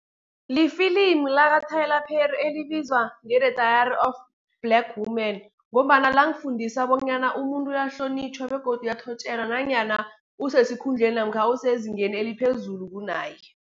Lifilimu laka-Tyler Perry, elibizwa nge-The Diary of Black Woman, ngombana lang fundisa bonyana umuntu uyahlonitjhwa, begodu uyathotjelwa nanyana osesikhundleni namkha osezingeni eliphezulu kunaye.